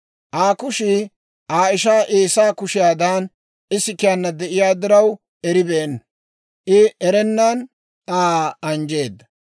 Aa kushii Aa ishaa Eesaa kushiyaadan isikiyaana de'iyaa diraw, eribeenna; I erennan Aa anjjeedda.